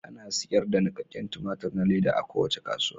Ana sayar da nikakken tumatir na leda a kowace kasuwa.